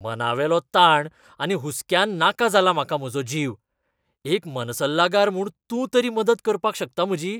मनावेलो ताण आनी हुस्क्यान नाका जाला म्हाका म्हाजो जीव. एक मनसल्लागार म्हूण तूं तरी मदत करपाक शकता म्हजी?